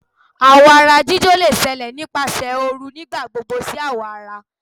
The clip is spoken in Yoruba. Àwọ̀ ara jíjó lè ṣẹlẹ̀ nipasẹ ooru nigbagbogbo si awọ ara.